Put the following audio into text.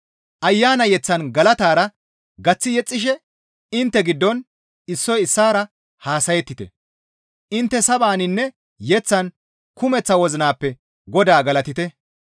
Ayana yeththan galatara gaththi yexxishe intte giddon issoy issaara haasayettite; intte sabaninne yeththan kumeththa wozinappe Godaa galatite.